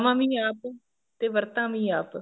ਵੀ ਆਪ ਤੇ ਵਰਤਾ ਵੀ ਆਪ